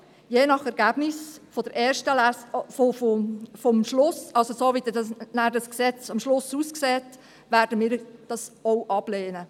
Je nach Ergebnis der ersten Lesung, beziehungsweise je nachdem, wie das Gesetz dann am Ende aussieht, werden wir es auch ablehnen.